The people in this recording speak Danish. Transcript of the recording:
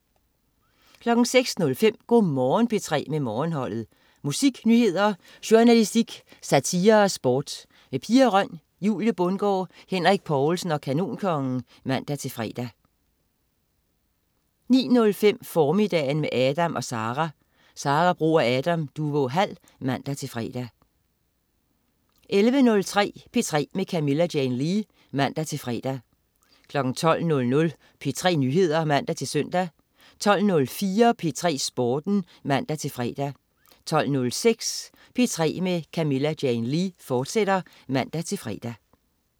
06.05 Go' Morgen P3 med Morgenholdet. Musik, nyheder, journalistik, satire og sport. Pia Røn, Julie Bundgaard, Henrik Povlsen og Kanonkongen (man-fre) 09.05 Formiddagen med Adam & Sara. Sara Bro og Adam Duvå Hall (man-fre) 11.30 P3 med Camilla Jane Lea (man-fre) 12.00 P3 Nyheder (man-søn) 12.04 P3 Sporten (man-fre) 12.06 P3 med Camilla Jane Lea, fortsat (man-fre)